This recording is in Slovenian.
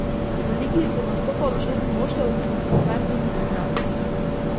V ligi bo nastopalo šest moštev s po petimi igralci.